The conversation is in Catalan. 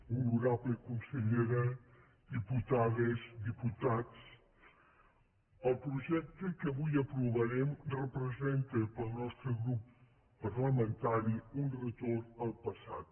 honorable consellera diputades diputats el projecte que avui aprovarem representa pel nostre grup parlamentari un retorn al passat